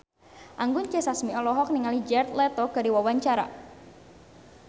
Anggun C. Sasmi olohok ningali Jared Leto keur diwawancara